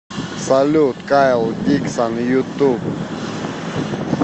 салют кайл диксон ютуб